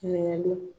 Kɛnɛya don